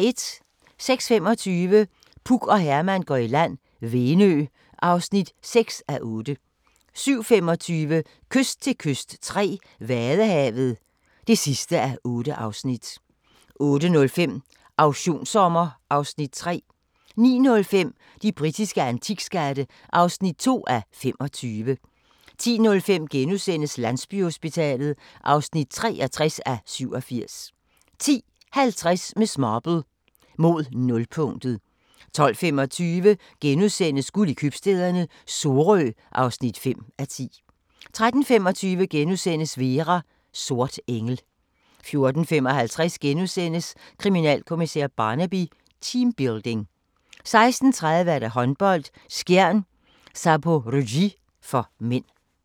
06:25: Puk og Herman går i land - Venø (6:8) 07:25: Kyst til kyst III - Vadehavet (8:8) 08:05: Auktionssommer (Afs. 3) 09:05: De britiske antikskatte (2:25) 10:05: Landsbyhospitalet (63:87)* 10:50: Miss Marple: Mod nulpunktet 12:25: Guld i købstæderne - Sorø (5:10)* 13:25: Vera: Sort engel * 14:55: Kriminalkommissær Barnaby: Teambuilding * 16:30: Håndbold: Skjern-Zaporozhye (m)